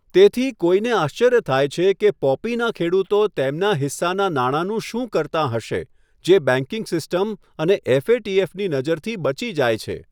તેથી, કોઈને આશ્ચર્ય થાય છે કે પોપીનાં ખેડૂતો તેમના હિસ્સાનાં નાણાંનું શું કરતાં હશે, જે બેંકિંગ સિસ્ટમ અને એફ.એ.ટી.એફ.ની નજરથી બચી જાય છે.